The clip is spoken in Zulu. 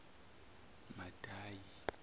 madayi